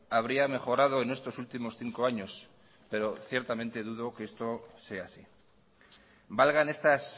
habría mejorado en estos últimos cinco años pero ciertamente dudo que esto sea así valgan estas